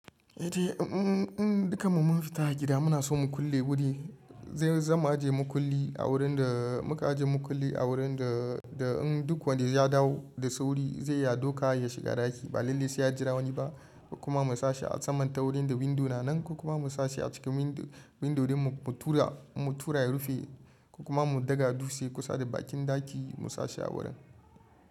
Eh dai, in duka mu mun fita a gida muna so mu kulle wuri, zan mu ajiye mukulli a wurin da muka ajiye mukulli a wurin da in duk wanda ya dawo da sauri zai ya doka ya shiga ɗaki ba lallai sai ya jira wani ba. Kuma mu sashe a saman taurin da windo na nan kuma mu sashi a cikin windodin mu tura, mu tura ya rufe kuma mu daga dutse kusa da bakin ɗaki mu sashe a wurin.